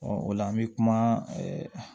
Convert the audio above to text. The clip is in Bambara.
o la an bɛ kuma ɛɛ